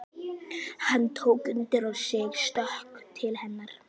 Hann tók undir sig stökk til hennar.